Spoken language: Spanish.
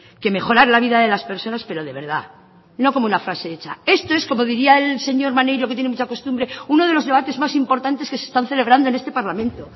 que mejorar la vida de las personas pero de verdad no como una frase hecha esto es como diría el señor maneiro que tiene mucha costumbre uno de los debates más importantes que se están celebrando en este parlamento